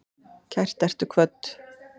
Kært ertu kvödd.